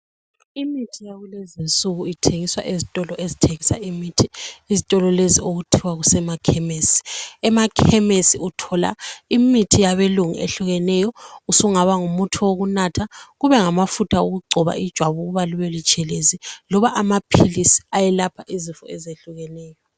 Imithi yakulezi nsuku ithengiswa ezitolo ezithengisa imithi izitolo lezi okuthiwa kusemakhemesi, emakhemesi uthola imithi yabelungu ehlukeneyo usungaba ngumuthi wokunatha kube ngamafutha okugcoba ijwabu ukuba libe butshelezi loba amaphilisi ayelapha izifo ezehlukeneyo.